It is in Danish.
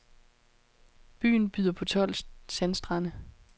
Byen byder på tolv sandstrande.